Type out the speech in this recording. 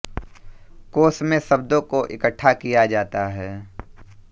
कोश में शब्दों को इकट्ठा किया जाता है